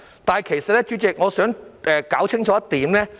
代理主席，我想說明一點。